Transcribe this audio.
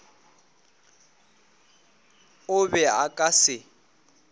o be a ka se